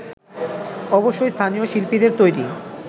অবশ্যই স্থানীয় শিল্পীদের তৈরি